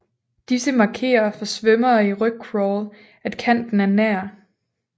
Disse markerer for svømmere i rygcrawl at kanten er nær